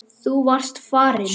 Þú varst farinn.